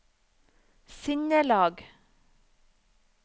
sinnelag